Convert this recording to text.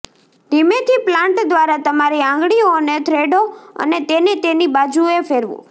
ધીમેથી પ્લાન્ટ દ્વારા તમારી આંગળીઓને થ્રેડો અને તેને તેની બાજુએ ફેરવો